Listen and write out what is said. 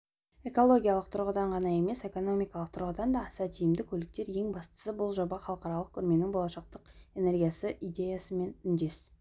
экологиялық тұрғыдан ғана емес экономикалық тұрғыдан да аса тиімді көліктер ең бастысы бұл жоба халықаралық көрменің болашақтың энергиясы идеясымен үндес